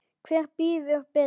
Hver býður betur?